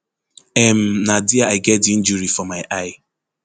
um na dia i get di injury for my eye